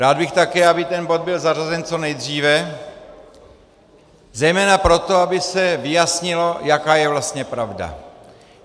Rád bych také, aby ten bod byl zařazen co nejdříve zejména proto, aby se vyjasnilo, jaká je vlastně pravda.